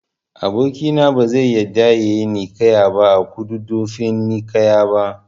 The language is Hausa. Aboki na bazai yarda yayi ninkaya a Kududdufin ninkaya ba